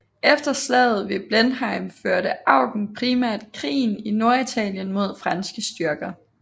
Efter slaget ved Blenheim førte Eugen primært krigen i Norditalien mod franske styrker